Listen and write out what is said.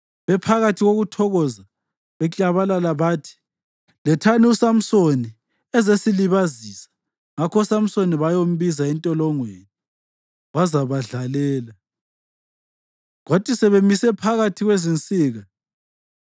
Bephakathi kokuthokoza, baklabalala bathi, “Lethani uSamsoni azesilibazisa.” Ngakho uSamsoni bayambiza entolongweni, wazabadlalela. Kwathi sebemise phakathi kwezinsika,